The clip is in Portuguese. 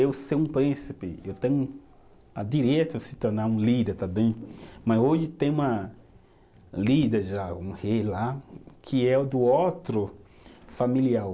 Eu ser um príncipe, eu tenho a direito se tornar um líder também, mas hoje tem uma líder já, um rei lá, que é o do outro familiar.